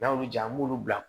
N'a y'olu ja an b'ulu bila